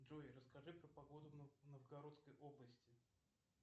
джой расскажи про погоду в новгородской области